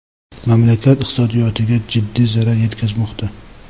mamlakat iqtisodiyotiga jiddiy zarar yetkazmoqda.